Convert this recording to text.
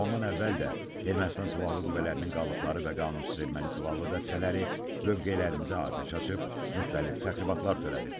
Ondan əvvəl də Ermənistan silahlı qüvvələrinin qalıqları və qanunsuz erməni silahlı dəstələri mövqelərimizə atəş açıb müxtəlif təxribatlar törədib.